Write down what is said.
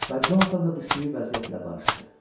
Və Conatan da düşdüyü vəziyyətlə barışdı.